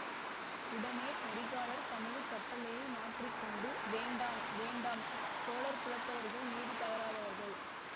உடனே கரிகாலர் தமது கட்டளையை மாற்றி கொண்டு வேண்டாம் வேண்டாம் சோழர் குலத்தவர்கள் நீதி தவறாதவர்கள்